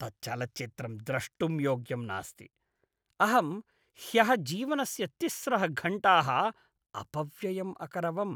तत् चलच्चित्रं द्रष्टुं योग्यम् नास्ति। अहं ह्यः जीवनस्य तिस्रः घण्टाः अपव्ययम् अकरवम्।